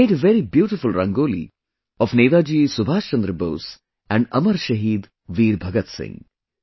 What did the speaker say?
He made very beautiful Rangoli of Netaji Subhash Chandra Bose and Amar Shaheed Veer Bhagat Singh